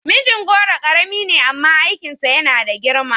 Mijingoro karami ne amma aikinsa yana da girma